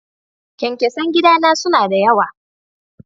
Kyankyasan gida na suna da yawa.